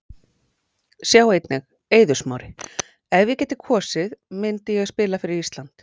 Sjá einnig: Eiður Smári: Ef ég gæti kosið myndi ég spila fyrir Ísland